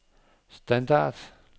standard